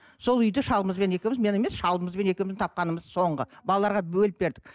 сол үйді шалымызбен екеуіміз мен емес шалымызбен екеуіміз тапқанымыз соңғы балаларға бөліп бердік